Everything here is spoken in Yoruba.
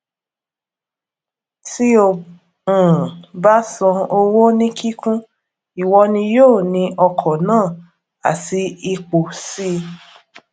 tí o um bá san owó ní kíkún ìwọ ni yóò ní ọkọ náà àti ipò sì